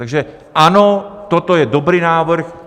Takže ano, toto je dobrý návrh.